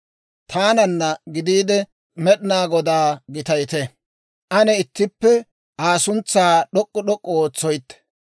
Taananna gidiide, Med'inaa Godaa gitayite. Ane ittippe Aa suntsaa d'ok'k'u d'ok'k'u ootsoytte.